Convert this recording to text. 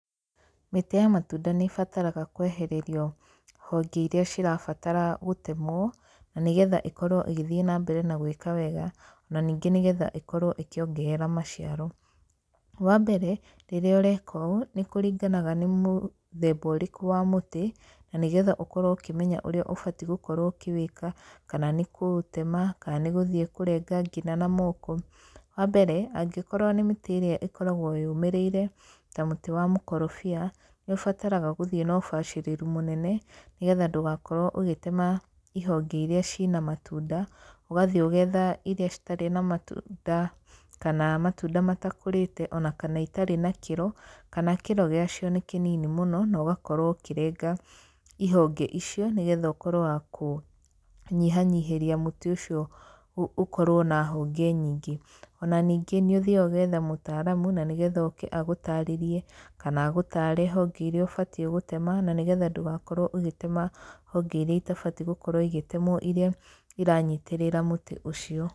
Mĩtĩ ya matunda nĩ ĩbataraga kwehererio honge irĩa cirabatara gũtemwo, na nĩgetha ĩkorwo ĩgĩthiĩ na mbere na gwĩka wega. Ona ningĩ nĩgetha ĩkorwo ĩkĩongerera maciaro. Wa mbere, rĩrĩa ũreka ũũ, nĩ kũringanaga nĩ mũthemba ũrĩkũ wa mũtĩ, na nĩgetha ũkorwo ũkĩmenya ũrĩa ũbati gũkorwo ũkĩwĩka, kana nĩ kũũtema, kana nĩ gũthiĩ kũrenga ngina na moko. Wa mbere, angĩkorwo nĩ mĩtĩ ĩrĩa ĩkoragwo yũmĩrĩire, ta mũtĩ wa mũkorobia, nĩ ũbataraga gũthiĩ na ũbacĩrĩru mũnene, nĩgetha ndũgakorwo ũgĩtema ihonge iria ciĩna matunda, ũgathiĩ ũgetha irĩa citarĩ na matunda, kana matuna matakũrĩte, ona kana itarĩ na kĩro, kana kĩro gĩa cio nĩ kĩnini mũno, na ũgakorwo ũkĩrenga ihonge icio, nĩgetha ũkorwo wa kũnyihanyihĩria mũtĩ ũcio ũkorwo na honge nyingĩ. Ona ningĩ nĩ ũthiaga ũgetha mũtaaramu na nĩgetha oke agũtarĩrie, kana agũtaare honge irĩa ũbatiĩ gũtema, na nĩgetha ndũgakorwo ũgĩtema honge irĩa itabatiĩ gũkorwo igĩtemwo irĩa iranyitĩrĩra mũtĩ ũcio.